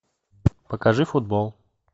покажи футбол